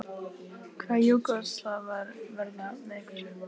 Hvaða Júgóslavar verða með ykkur?